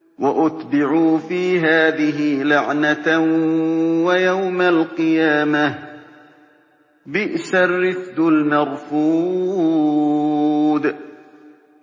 وَأُتْبِعُوا فِي هَٰذِهِ لَعْنَةً وَيَوْمَ الْقِيَامَةِ ۚ بِئْسَ الرِّفْدُ الْمَرْفُودُ